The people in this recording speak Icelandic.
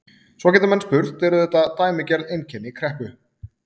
Svo geta menn spurt, eru þetta dæmigerð einkenni kreppu?